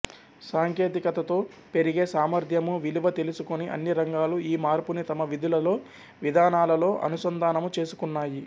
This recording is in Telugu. సాంకేతికతతో పెరిగే సామర్ధ్యము విలువ తెలుసుకొని అన్ని రంగాలు ఈ మార్పుని తమ విధులలో విధానాలలో అనుసంధానము చేసుకున్నాయి